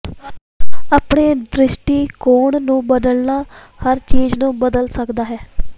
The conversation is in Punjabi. ਆਪਣੇ ਦ੍ਰਿਸ਼ਟੀਕੋਣ ਨੂੰ ਬਦਲਣਾ ਹਰ ਚੀਜ ਨੂੰ ਬਦਲ ਸਕਦਾ ਹੈ